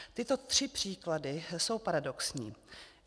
Tyto tři příklady jsou paradoxní.